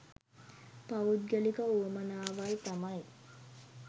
පෞද්ගලික උවමනාවල් තමයි.